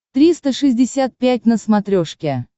триста шестьдесят пять на смотрешке